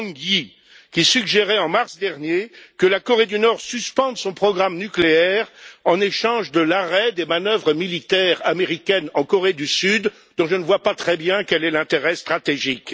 Wang Yi, qui suggérait en mars dernier que la Corée du Nord suspende son programme nucléaire en échange de l'arrêt des manœuvres militaires américaines en Corée du Sud, dont je ne vois pas très bien l'intérêt stratégique.